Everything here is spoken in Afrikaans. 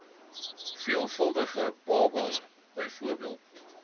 veelvuldige babas bv